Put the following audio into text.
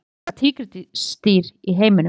Hvar lifa tígrisdýr í heiminum?